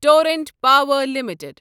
Torrent Power limited